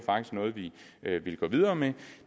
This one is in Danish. noget vi ville gå videre med